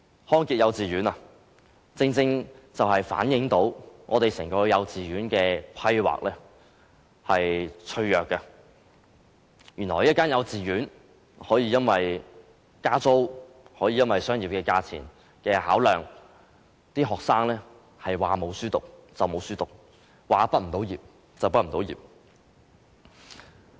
康傑幼稚園正正反映出整個幼稚園規劃的脆弱，原來一間幼稚園可以因為加租，可以因為商業價錢的考量，令學生隨時失學，亦隨時無法畢業。